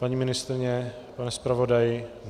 Paní ministryně, pane zpravodaji?